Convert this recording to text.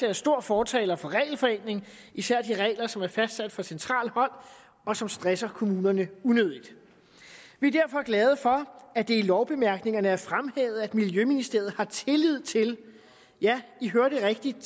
er stor fortaler for regelforenkling især de regler som er fastsat fra centralt hold og som stresser kommunerne unødigt vi er derfor glade for at det i lovbemærkningerne er fremhævet at miljøministeriet har tillid til ja i hørte rigtigt